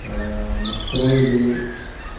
аа настроили